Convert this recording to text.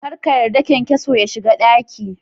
Kar ka yarda kyankyason ya shiga daki.